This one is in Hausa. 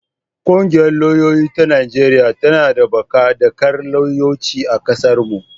Ƙungiyar lauyoyi ta Najeriya tana ɗabbaƙa dakar lauyanci a ƙasarmu.